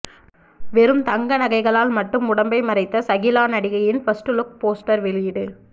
வெறும் தங்க நகைகளால் மட்டும் உடம்பை மறைத்த சகிலா நடிகையின் ஃபர்ஸ்ட் லுக் போஸ்டர் வெளியீடு